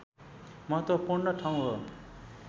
महत्त्वपूर्ण ठाउँ हो